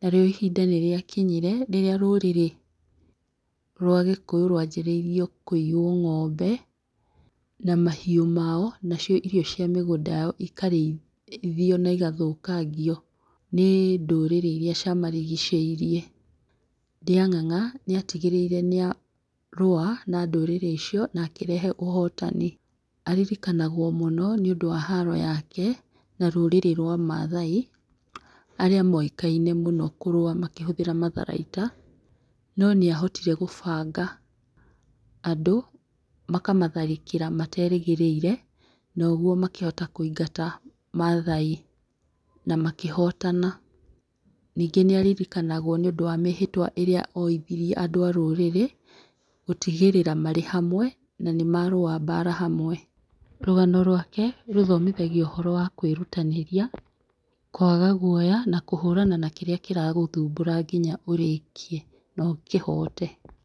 Narĩu ihinda nĩ rĩa kinyire rĩrĩa rũrĩrĩ rwa gĩkũyũ rwa njĩrĩirio kũiywo ng'ombe na mahiũ mao nacio irio cia mĩgũnda yao ĩkarĩithio na ĩgathũkingio nĩ ndũrĩrĩ iria cia marigicĩirie. Ndĩa ng'ang'a nĩ atigĩrĩire nĩ arũa na ndũrĩrĩ icio nakĩrehe ũhotani. Aririkanagwo mũno nĩ ũndũ wa haro yake na rũrĩrĩ rwa mathai arĩa moĩkaine mũno kũrũa makĩhũthĩra matharaita, no nĩ ahotire gũbanga andũ na makamatharĩkĩra materĩgĩrĩire noguo makĩhota kũingata mathai na makĩhotana. Ningĩ, nĩ aririkanagwo nĩ ũndũ wa mĩhĩtwa ĩrĩa oithirie andũ a rũrĩrĩ, gũtigĩrĩra marĩ hamwe na nĩ marũa mbara hamwe. Rũgano rwake rũthomithagia ũhoro wa kwĩrutanĩria, kwaga guoya, na kũhũrana na kĩrĩa kĩragũthumbũra nginya ũrĩkie na ũkĩhote.